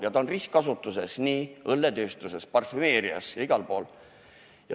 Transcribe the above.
Ja see on ristkasutuses, nii õlletööstuses, parfümeerias kui ka mujal.